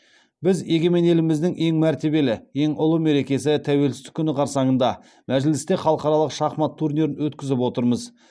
біз егемен еліміздің ең мәртебелі ең ұлы мерекесі тәуелсіздік күні қарсаңында мәжілісте халықаралық шахмат турнирін өткізіп отырмыз